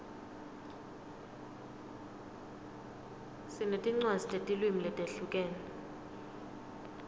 sinetincwadzi tetilwimi letihlukene